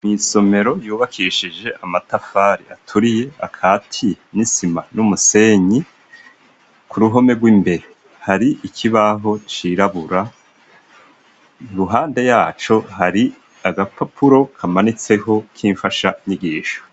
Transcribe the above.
Mw'isomero ryubakishije amatafari aturiye akatiye n'isima n'umusenyi, ku ruhome rw'imbere hari ikibaho cirabura, iruhande ya co hari agapapuro kamanitseho k'imfashanyigisho.